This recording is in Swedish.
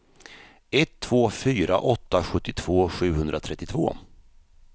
ett två fyra åtta sjuttiotvå sjuhundratrettiotvå